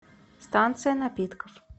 станция напитков